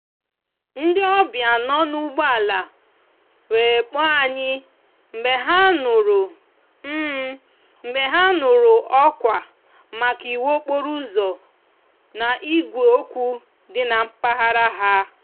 ndi òbia nò n'úgbò ala were kpòò anyi mgbe ha núrú mgbe ha núrú òkwa maka iwu okporo úzò na igwe okwu di na mpaghara ha.